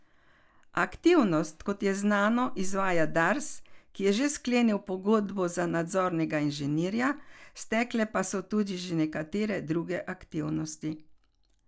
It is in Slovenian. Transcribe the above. Aktivnosti, kot je znano, izvaja Dars, ki je že sklenil pogodbo za nadzornega inženirja, stekle pa so tudi že nekatere druge aktivnosti.